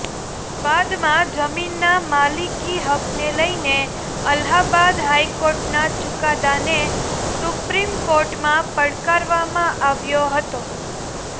બાદમાં જમીનના માલિકી હકને લઈને અલ્હાબાદ હાઈકોર્ટના ચુકાદાને સુપ્રીમ કોર્ટમાં પડકારવામાં આવ્યો હતો